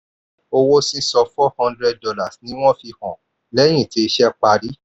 owó sísan four hundred dollars ni wọ́n fi hàn lẹ́yìn tí iṣẹ́ parí.